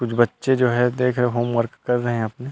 कुछ बच्चे जो है देख रहै है होमवर्क कर रहै है अपने--